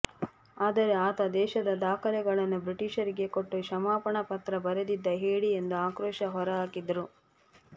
ಆದರೆ ಆತ ದೇಶದ ದಾಖಲೆ ಗಳನ್ನು ಬ್ರಿಟಿಷರಿಗೆ ಕೊಟ್ಟು ಕ್ಷಮಾಪಣಾ ಪತ್ರ ಬರೆದಿದ್ದ ಹೇಡಿ ಎಂದು ಆಕ್ರೋಶ ಹೊರಹಾಕಿದರು